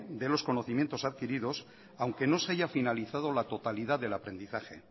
de los conocimientos adquiridos aunque no se haya finalizado la totalidad del aprendizaje